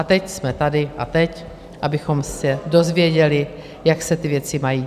A teď jsme tady a teď abychom se dozvěděli, jak se ty věci mají.